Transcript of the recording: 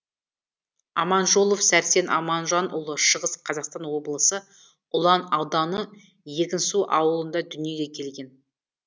аманжолов сәрсен аманжанұлы шығыс қазақстан облысы ұлан ауданы егінсу ауылында дүниеге келген